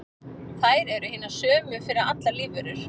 þær eru hinar sömu fyrir allar lífverur